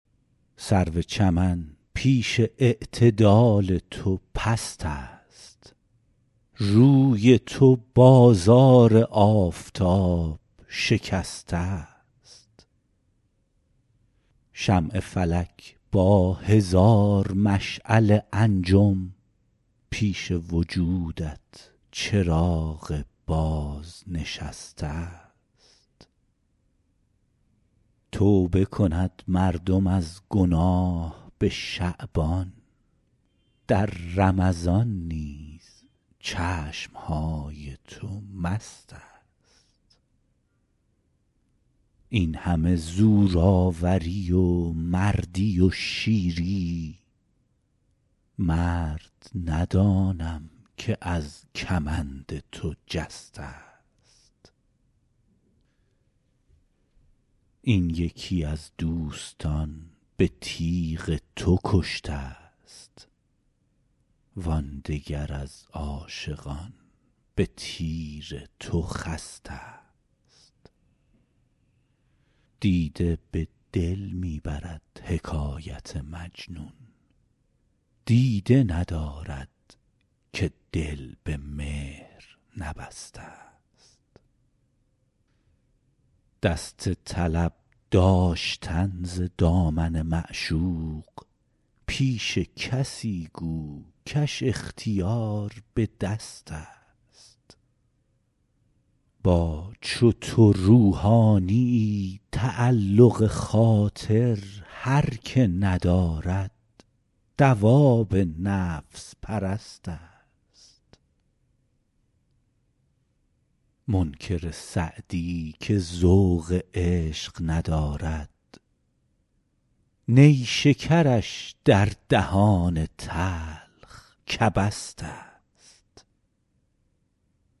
سرو چمن پیش اعتدال تو پست است روی تو بازار آفتاب شکسته ست شمع فلک با هزار مشعل انجم پیش وجودت چراغ بازنشسته ست توبه کند مردم از گناه به شعبان در رمضان نیز چشم های تو مست است این همه زورآوری و مردی و شیری مرد ندانم که از کمند تو جسته ست این یکی از دوستان به تیغ تو کشته ست وان دگر از عاشقان به تیر تو خسته ست دیده به دل می برد حکایت مجنون دیده ندارد که دل به مهر نبسته ست دست طلب داشتن ز دامن معشوق پیش کسی گو کش اختیار به دست است با چو تو روحانیی تعلق خاطر هر که ندارد دواب نفس پرست است منکر سعدی که ذوق عشق ندارد نیشکرش در دهان تلخ کبست است